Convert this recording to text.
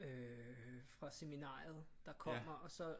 Øh fra seminariet der kommer og så